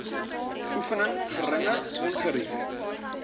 oefening geringe ongerief